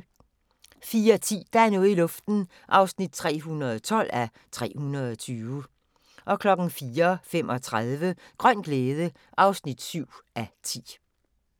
04:10: Der er noget i luften (312:320) 04:35: Grøn glæde (7:10)